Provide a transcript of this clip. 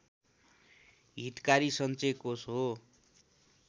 हितकारी सञ्चयकोष हो